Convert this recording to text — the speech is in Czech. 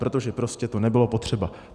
Protože prostě to nebylo potřeba.